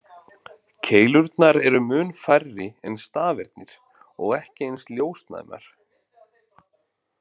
Keilurnar eru mun færri en stafirnir og ekki eins ljósnæmar.